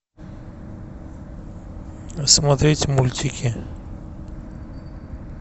смотреть мультики